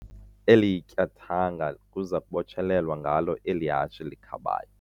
Eli tyathanga kuza kubotshelelwa ngalo eli hashe likhabayo.